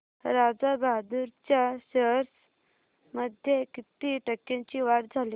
राजा बहादूर च्या शेअर्स मध्ये किती टक्क्यांची वाढ झाली